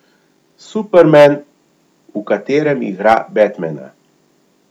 Superman, v katerem igra Batmana.